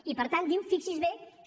i per tant diu fi·xi·s’hi bé que